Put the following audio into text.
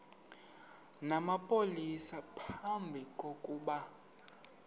namapolisa phambi kokuba